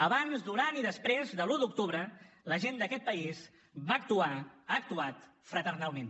abans durant i després de l’un d’octubre la gent d’aquest país va actuar ha actuat fraternalment